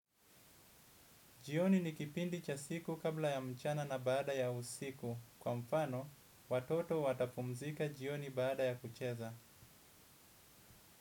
Jioni ni kipindi cha siku kabla ya mchana na baada ya usiku. Kwa mfano, watoto watapumzika jioni baada ya kucheza.